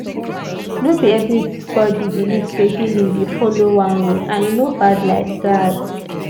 no be everybody believe say healing dey follow one road and e no bad like that.